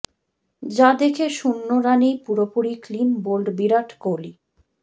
যা দেখে শূন্য রানেই পুরোপুরি ক্লিন বোল্ড বিরাট কোহলি